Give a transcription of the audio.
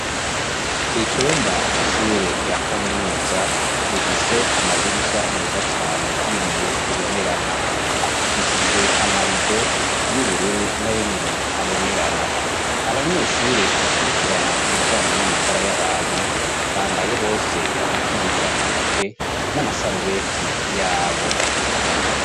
icumba c'ishure rya kaminuza rifise amadirisha meza cane y'ibiyo bibonerana; apfukishijwe amarido y'ubururu na yo nyene abonerana. Abanyeshure bakurikirana ibijanye n'amagara y'abantu bambaye bose udukingira intoke n'amasarubeti yabo.